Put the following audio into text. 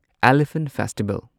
elephant festival